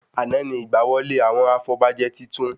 Àná ni ìgbà wọlé àwọn afọbajẹ titun